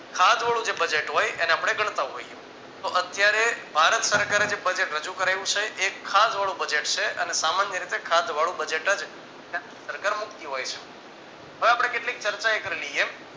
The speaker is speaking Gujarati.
ખાધવાળું જે budget હોય એને આપણે ગણતા હોઈએ તો અત્યારે ભારત સરકારે જે budget રજુ કરાવ્યું છે એ ખાધવાળું budget છે. અને સામાન્ય રીતે ખાધવાળું budget જ સરકાર મુક્તિ હોય છે. હવે આપણે કેટલીક ચર્ચા કરી લઈએ